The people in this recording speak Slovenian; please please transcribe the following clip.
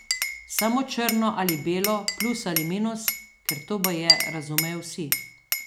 Samo črno ali belo, plus ali minus, ker to baje razumejo vsi.